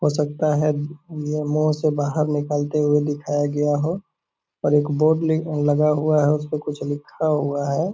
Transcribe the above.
हो सकता है नियमों से बाहर निकलते हुवे दिखाया गया हो और एक बोर्ड लेग लगा हुआ है उसपे कुछ लिखा हुवा है।